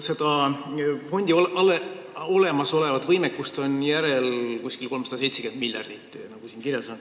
Selle fondi olemasolevat võimekust on järel 378 miljardit, nagu siin kirjas on.